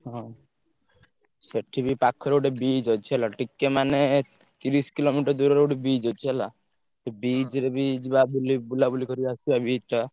ହଁ ସେଠି ବି ପାଖରେ ଗୋଟେ beach ଅଛି ହେଲା ଟିକେ ମାନେ ତିରିଶି kilometer ଦୂରରେ ଗୋଟେ beach ଅଛି ହେଲା, ସେ beach ରେ ବି ଯିବା ବୁଲି ବୁଲାବୁଲି କରି ଆସିଆ beach ଟା।